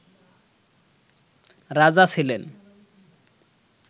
রাজা ছিলেন